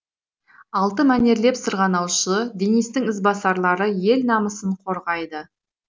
алты мәнерлеп сырғанаушы денистің ізбасарлары ел намысын қорғайды